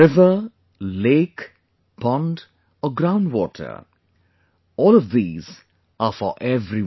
River, lake, pond or ground water all of these are for everyone